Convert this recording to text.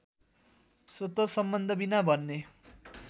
स्वत सम्बन्धबिना भन्ने